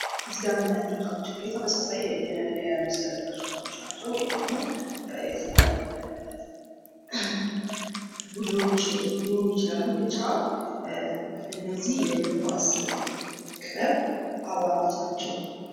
እዚህ ጋር የምናያቸው ወጣቶች እንግዲህ ተመሳሳይ የመለያ ልብ የለበሱ ሰዎች ናቸው። ወይም ደግሞ የተለያየ ቡድኖች ይችላሉ ።ብቻ እነዚህ የእግር ኳስ ክበብ አባላት ናቸው።